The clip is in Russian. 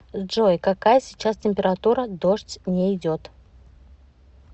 джой какая сейчас температура дождь не идет